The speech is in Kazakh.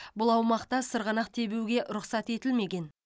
бұл аумақта сырғанақ тебуге рұқсат етілмеген